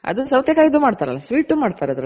ಅದು ಸೌತೆ ಕಾಯ್ದು ಮಾಡ್ತಾರಲ್ಲ sweet ಮಾಡ್ತಾರ್ ಅದ್ರಲ್ಲಿ